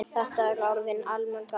Þetta eru orðin allmörg ár.